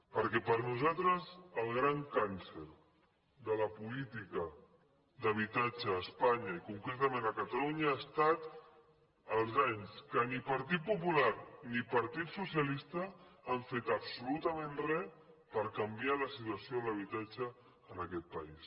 perquè per nosaltres el gran càncer de la política d’habitatge a espanya i concretament a catalunya ha estat els anys que ni partit popular ni partit socialista han fet absolutament re per canviar la situa ció de l’habitatge en aquest país